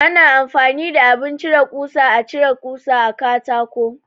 Ana amfani da abin cire ƙusa (Cizil) a cire kusa a katako.